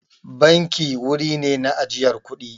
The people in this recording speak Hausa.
Banki wuri ne na ajiyar kuɗi.